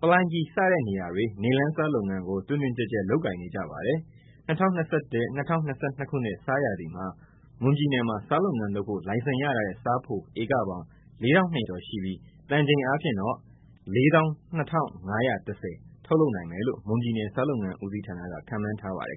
ပလိုင်းကီး စတဲ့နေရာတွေ နေလှန်းဆားလုပ်ငန်းကို တွင်တွင်ကျယ်ကျယ် လုပ်ကိုင်နေကြပါတယ်။ ၂၀၂၁-၂၀၂၂ခုနှစ် ဆားရာသီမှာ မွန်ပြည်နယ်မှာ ဆားလုပ်ငန်းလုပ်ဖို့ လိုင်စင်ရထားတဲ့ ဆားဖိုဧကပေါင်း ၄ ထောင့် ၂ရာကျော်ရှိပြီး၊ တန်ချိန်အားဖြင့် ၄၂၅၁ဝ ထုတ်လုပ်နိုင်မယ်လို့ မွန်ပြည်နယ် ဆားလုပ်ငန်ဦးစီးဌာနက ခန့်မှန်းထားပါတယ်